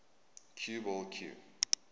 cue ball cue